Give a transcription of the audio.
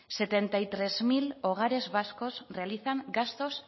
setenta y tres mil hogares vascos realizan gastos